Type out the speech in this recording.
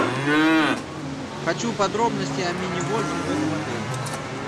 хочу подробности о мини гольфе в этом отеле